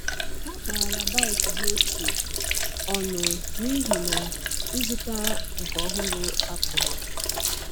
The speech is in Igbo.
Ha kpara bike ha ochie ọnụ n’ihi na ịzụta nke ọhụrụ apụghị.